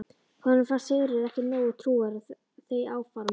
Honum fannst Sigurður ekki nógu trúaður á þau áform.